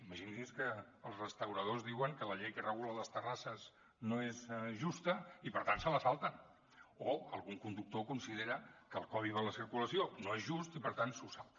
imagini’s que els restauradors diuen que la llei que regula les terrasses no és justa i per tant se la salten o algun conductor considera que el codi de la circulació no és just i per tant se’l salta